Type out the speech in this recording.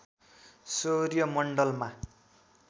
सौर्य मण्डलमा